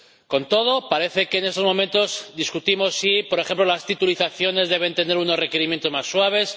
Con todo, parece que en estos momentos discutimos si, por ejemplo, las titulizaciones deben tener unos requerimientos más suaves